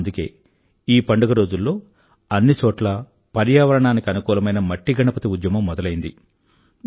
అందుకే ఈ పండుగ రోజుల్లో అన్నిచోట్లా పర్యావరణానికి అనుకూలమైన మట్టి గణపతి ఉద్యమం మొదలైంది